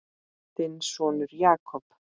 Þinn sonur, Jakob.